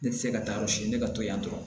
Ne tɛ se ka taa yɔrɔ si ne ka to yan dɔrɔn